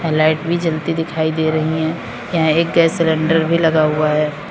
Light भी जलती दिखाई दे रही है यहां एक गैस सिलेंडर भी लगा हुआ है।